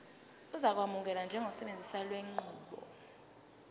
uzokwamukelwa njengosebenzisa lenqubo